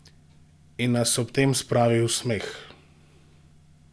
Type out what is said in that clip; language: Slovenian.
In nas ob tem spravi v smeh!